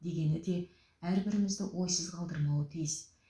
дегені де әрбірімізді ойсыз қалдырмауы тиіс